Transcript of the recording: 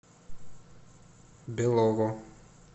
белово